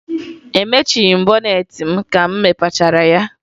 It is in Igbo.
Emechighi m bọneetị m ka m mepechara ya